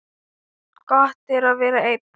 Gott er að vera einn.